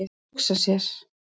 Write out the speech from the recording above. Að hugsa sér!